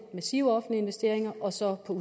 massive offentlige investeringer og så på